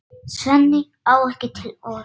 Svenni á ekki til orð.